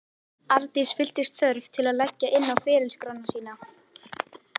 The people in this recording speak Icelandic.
Arndís fylltist þörf til að leggja inn á ferilskrána sína.